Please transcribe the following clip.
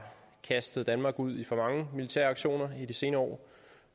kastet danmark ud i for mange militære aktioner i de senere år